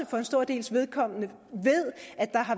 for en stor dels vedkommende